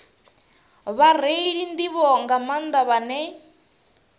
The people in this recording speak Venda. vhareili nḓivho nga maanḓa vhane